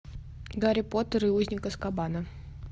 гарри поттер и узник азкабана